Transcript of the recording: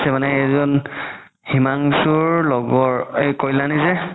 মানে কেইজন হিমানংশুৰ লগৰ কাল্যাণি যে